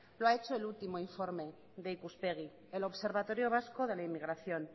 lo ha hecho el último informe de ikuspegi el observatorio vasco de la inmigración